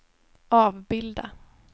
avbilda